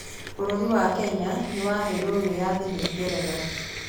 Bũrũri wa Kenya nĩ waheirũo wĩyathi nĩ Ngeretha